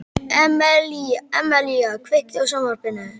Emelía, kveiktu á sjónvarpinu.